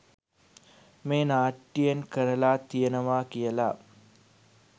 මේ නාට්‍යයෙන් කරලා තියෙනවා කියලා